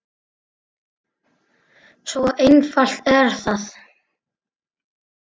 Svo einfalt er það!